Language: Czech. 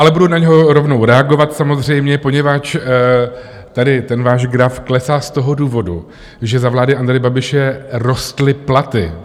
Ale budu na něho rovnou reagovat samozřejmě, poněvadž tady ten váš graf klesá z toho důvodu, že za vlády Andreje Babiše rostly platy.